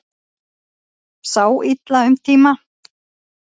Sá illa um tíma